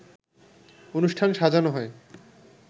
অনুষ্ঠান সাজানো হয়